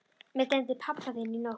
Mig dreymdi pabba þinn í nótt.